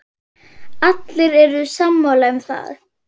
Allir eru sammála um það.